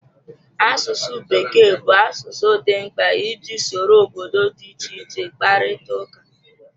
Asụsụ Bekee bụ asụsụ dị mkpa iji soro obodo dị iche iche kparịta ụka.